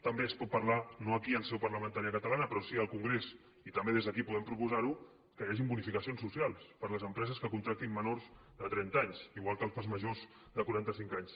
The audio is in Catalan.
també es pot parlar no aquí en seu parlamentària catalana però sí al congrés i també des d’aquí podem proposar ho que hi hagin bonificacions socials per a les empreses que contractin menors de trenta anys igual que per als majors de quaranta cinc anys